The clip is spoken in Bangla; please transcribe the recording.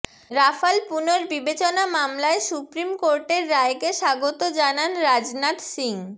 রাফাল পুনর্বিবেচনা মামলায় সুপ্রিম কোর্টের রায়কে স্বাগত জানান রাজনাথ সিং